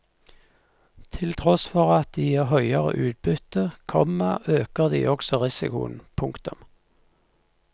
Til tross for at de gir høyere utbytte, komma øker de også risikoen. punktum